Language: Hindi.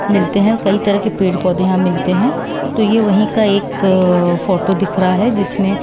मिलते हैं कई तरह के पेड़ पौधे यहां मिलते हैं तो यह वही का एक फोटो दिख रहा है जिसमें--